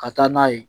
Ka taa n'a ye